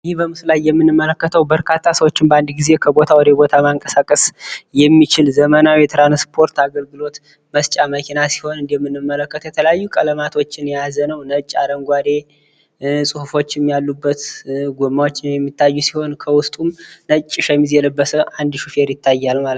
ይህ በምስሉ ላይ የምንመለከተው በርካታ ሰዎችን በአንድ ጊዜ ከቦታ ወደቦታ ማንቀሳቀስ የሚችል ዘመናዊ የትራንስፖርት አገልግሎት መስጫ መኪና ሲሆን እንደምንመለከተው የተለያዩ ቀለማቶችን የያዘ ነው። ነጭ፣ አረንጓዴ ፅሁፎችም ያሉበት ጎማዎችም የሚታዩ ሲሆን ከውስጡ ነጭ ሸሚዝ የለበሰ አንድ ሹፌር ይታያል ማለት ነው።